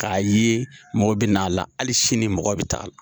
K'a ye mɔgɔw bɛn'a la hali sini mɔgɔ bɛ taa la.